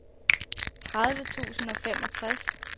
tredive tusind og femogtres